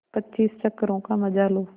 पच्चीस चक्करों का मजा लो